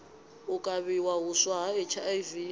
u kavhiwa huswa ha hiv